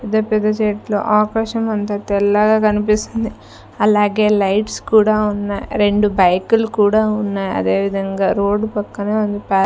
పెద్ద పెద్ద చెట్లు ఆకాశం అంతా తెల్లగా కనిపిస్తుంది అలాగే లైట్స్ కూడా ఉన్నాయ్ రెండు బైకులు కూడా ఉన్నాయ్ అదే విధంగా రోడ్డు పక్కనే ఉంది పా--